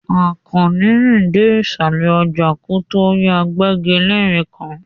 Àkànní rìn dé ìsàlẹ̀ ọjà kó tó rí agbẹ́gilére kan.